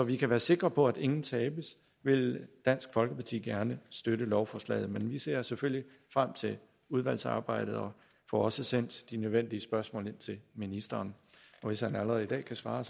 vi kan være sikre på at ingen tabes vil dansk folkeparti gerne støtte lovforslaget men vi ser selvfølgelig frem til udvalgsarbejdet og får også sendt de nødvendige spørgsmål ind til ministeren hvis han allerede i dag kan svare